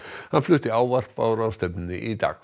hann flutti ávarp á ráðstefnunni í dag